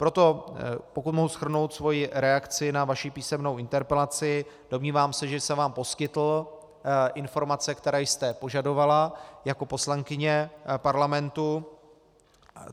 Proto pokud mohu shrnout svoji reakci na vaši písemnou interpelaci, domnívám se, že jsem vám poskytl informace, které jste požadovala jako poslankyně Parlamentu.